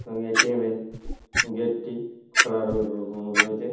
এবং এ.টি.এম. -এর গেট -টি খোঁড়া-র-র রয়েছে।